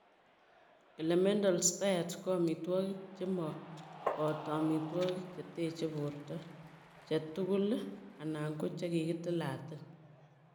Elemental diets ko amitwogik che mo boto amitwogik che teche borto che tugul anan ko che kiketilalatil.